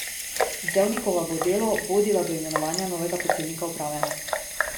Zevnikova bo Delo vodila do imenovanja novega predsednika uprave.